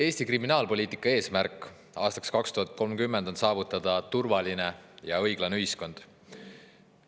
Eesti kriminaalpoliitika eesmärk aastaks 2030 on saavutada turvaline ja õiglane ühiskond.